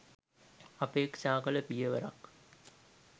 අපේක්ෂා කළ පියවරක්